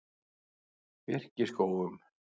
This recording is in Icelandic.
Birkiskógum